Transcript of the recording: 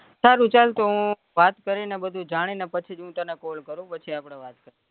સારું ચલ તો હું વાત કરીને બધું જાણીને પછીજ હું તને call કરી પછીજ આપડે વાત કરીએ